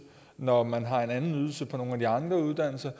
når man har en anden ydelse på nogle af de andre uddannelser